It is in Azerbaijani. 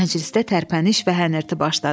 Məclisdə tərpəniş və hənirti başladı.